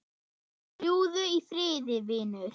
Fljúgðu í friði vinur.